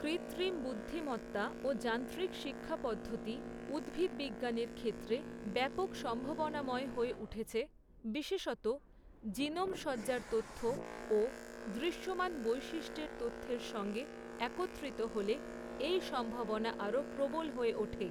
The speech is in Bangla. কৃত্রিম বুদ্ধিমত্তা ও যান্ত্রিক শিক্ষাপদ্ধতি, উদ্ভিদ বিজ্ঞানের ক্ষেত্রে, ব্যাপক সম্ভাবনাময় হয়ে উঠেছে, বিশেষত, জিনোম সজ্জার তথ্য ও দৃশ্যমান বৈশিষ্ট্যের তথ্যের সঙ্গে একত্রিত হলে, এই সম্ভাবনা আরও প্রবল হয়ে ওঠে।